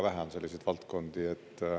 Väga vähe on selliseid valdkondi.